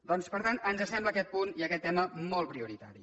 doncs per tant ens sembla aquest punt i aquest tema molt prioritari